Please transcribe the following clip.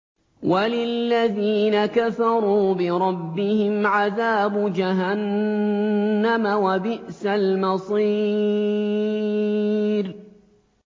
وَلِلَّذِينَ كَفَرُوا بِرَبِّهِمْ عَذَابُ جَهَنَّمَ ۖ وَبِئْسَ الْمَصِيرُ